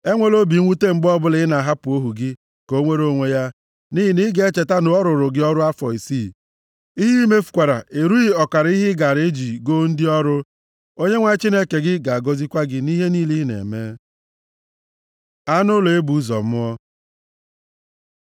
Enwela obi mwute mgbe ọbụla ị na-ahapụ ohu gị ka o nwere onwe ya, nʼihi na ị ga-echeta na ọ rụụrụ gị ọrụ afọ isii, ihe i mefukwara erughị ọkara ihe ị gaara eji goo ndị ọrụ. Onyenwe anyị Chineke gị ga-agọzikwa gị nʼihe niile ị na-eme. Anụ ụlọ e bụ ụzọ mụọ